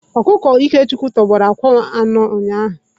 Ọkụkọ Ikechukwu tọgbọrọ akwa anọ ụnyahụ.